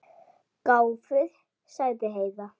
Gáfuð, sagði Heiða.